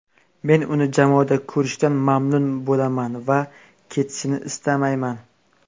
Men uni jamoada ko‘rishdan mamnun bo‘laman va ketishini istamayman.